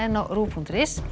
á rúv punktur is